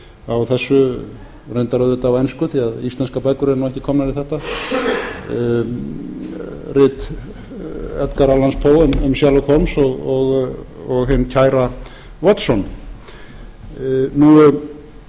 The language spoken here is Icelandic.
á þessu reyndar auðvitað á ensku því að íslenskar bækur eru ekki komnar í þetta rit eiga alls kom um sherlokes holmes og hinn kæra watson